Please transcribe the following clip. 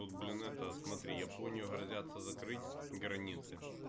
тут блин это смотри японию грозятся закрыть границы